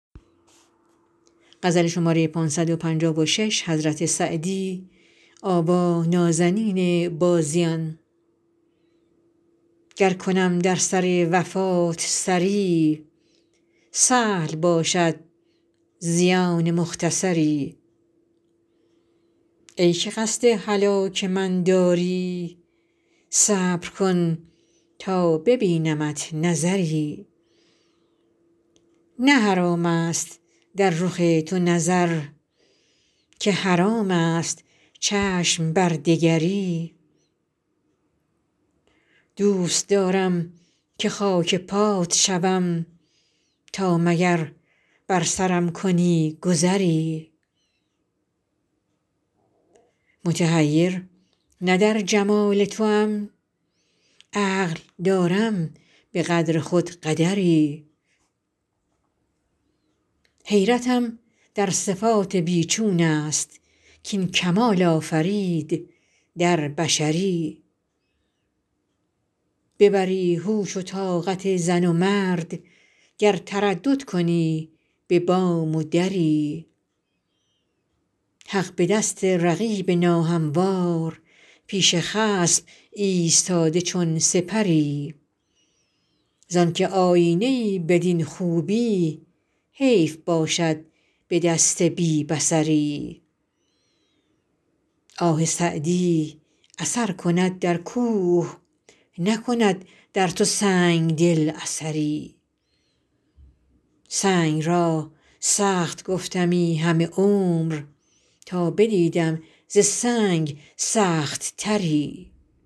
گر کنم در سر وفات سری سهل باشد زیان مختصری ای که قصد هلاک من داری صبر کن تا ببینمت نظری نه حرام است در رخ تو نظر که حرام است چشم بر دگری دوست دارم که خاک پات شوم تا مگر بر سرم کنی گذری متحیر نه در جمال توام عقل دارم به قدر خود قدری حیرتم در صفات بی چون است کاین کمال آفرید در بشری ببری هوش و طاقت زن و مرد گر تردد کنی به بام و دری حق به دست رقیب ناهموار پیش خصم ایستاده چون سپری زان که آیینه ای بدین خوبی حیف باشد به دست بی بصری آه سعدی اثر کند در کوه نکند در تو سنگ دل اثری سنگ را سخت گفتمی همه عمر تا بدیدم ز سنگ سخت تری